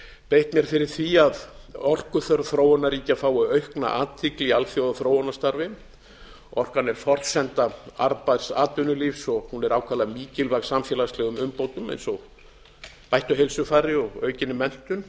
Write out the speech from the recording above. beitt mér fyrir því að orkuþörf þróunarríkja fái aukna athygli í alþjóðaþróunarstarfi orkan er forsenda arðbærs atvinnulífs og hún er ákaflega mikilvæg samfélagslegum umbótum eins og bættu heilsufari og aukinni menntun